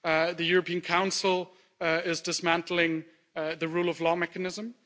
the European Council is dismantling the rule of law mechanism.